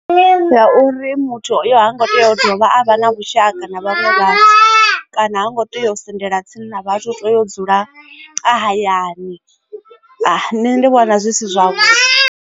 Ndi ya uri muthu hango tea u dovha a vha na vhushaka na vhaṅwe vhathu kana ha ngo tea u sendela tsini na vhathu to ya u dzula hayani nṋe ndi vhona zwi si zwavhuḓi.